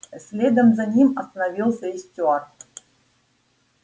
следом за ним остановился и стюарт